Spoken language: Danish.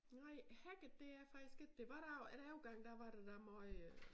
Nej hacket det er jeg faktisk ik det var dog en overgang der var der da måj øh